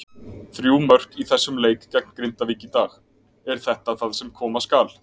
Þrjú mörk í þessum leik gegn Grindavík í dag, er þetta það sem koma skal?